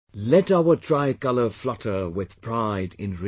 Let our tricolour flutter with pride in RIO